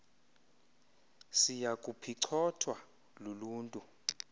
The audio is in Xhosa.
siya kuphicothwa luluntu